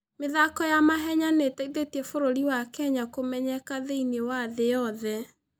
mĩthako ya mahenya nĩ ĩteithĩtie bũrũri wa Kenya kũmenyeka thĩinĩ wa thĩ yothe.